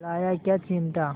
लाया क्या चिमटा